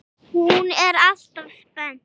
Hún er afar spennt.